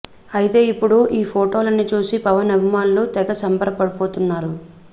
అయితే ఇప్పుడు ఈ ఫోటోలని చూసి పవన్ అభిమానులు తెగ సంబరపడిపోతున్నారు